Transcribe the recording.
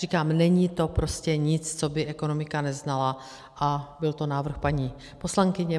Říkám, není to prostě nic, co by ekonomika neznala, a byl to návrh paní poslankyně.